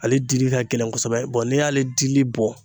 Ale dili ka gɛlɛn kosɛbɛ n'i y'ale dili bɔ